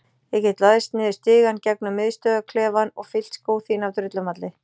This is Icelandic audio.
Ég get læðst niður stigann gegnum miðstöðvarklefann og fyllt skó þína af drullumalli.